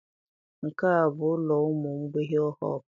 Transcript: Nke a bụ ụlọ ụmụ mgbei Hopu